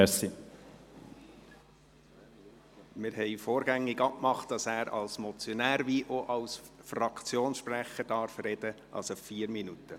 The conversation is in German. Wir hatten vorgängig abgemacht, dass Grossrat Kullmann sowohl als Motionär als auch als Fraktionssprecher sprechen darf, also insgesamt vier Minuten.